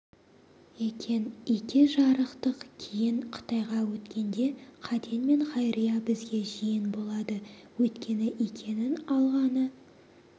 екен ике жарықтық кейін қытайға өткенде қаден мен хайрия бізге жиен болады өйткені икенің алғаны